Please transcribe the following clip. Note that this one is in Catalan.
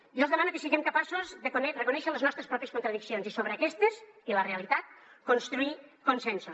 jo els demano que siguem capaços de reconèixer les nostres pròpies contra diccions i sobre aquestes i la realitat construir consensos